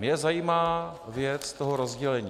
Mě zajímá věc toho rozdělení.